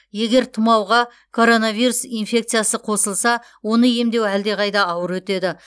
егер тұмауға коронавирус инфекциясы қосылса оны емдеу әлдеқайда ауыр өтеді